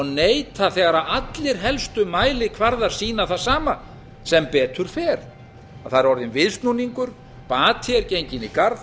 neita þegar allir helstu mælikvarðar sína það sama sem betur fer það er orðinn viðsnúningur bati er genginn í garð